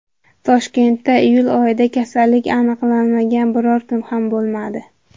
Toshkentda iyul oyida kasallik aniqlanmagan biron kun ham bo‘lmadi.